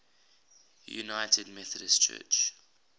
united methodist church